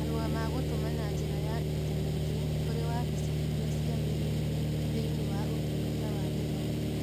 Marũa ma gũtũma na njĩra ya intaneti kũrĩ wabici iria ciagĩrĩire thĩinĩ wa Ũtungata wa Gĩthomo.